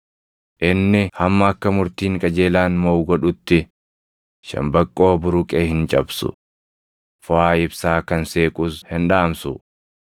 Inni hamma akka murtiin qajeelaan moʼu godhutti, shambaqqoo buruqe hin cabsu; foʼaa ibsaa kan seequs hin dhaamsu.